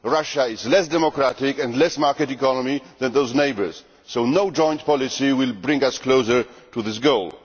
Russia is less democratic and less a market economy than those neighbours, so no joint policy will bring us closer to that goal.